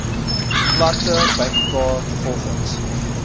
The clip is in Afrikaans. plante bymekaar volgens